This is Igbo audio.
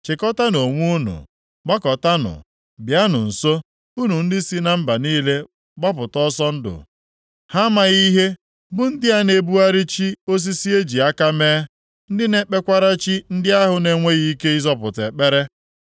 “Chịkọtaanụ onwe unu, gbakọtanụ, bịanụ nso, unu ndị si na mba niile gbapụta ọsọ ndụ. Ha amaghị ihe bụ ndị a na-ebugharị chi osisi e ji aka mee, ndị na-ekpekwara chi ndị ahụ na-enweghị ike ịzọpụta ekpere.